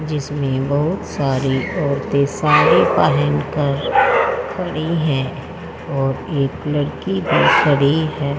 जिसमें बहुत सारी औरतें साड़ी पहनकर खड़ी हैं और एक लड़की भी खड़ी है।